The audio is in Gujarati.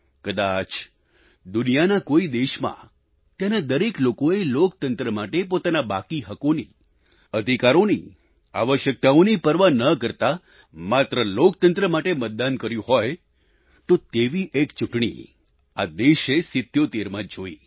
કદાચ દુનિયાના કોઈ દેશમાં ત્યાંના દરેક લોકોએ લોકતંત્ર માટે પોતાના બાકી હકોની અધિકારોની આવશ્યકતાઓની પરવા ન કરતા માત્ર લોકતંત્ર માટે મતદાન કર્યું હોય તો એવી એક ચૂંટણી આ દેશે 77 માં જોઈ